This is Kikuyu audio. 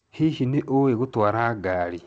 Hihi nĩ ũĩ gũtwara ngari?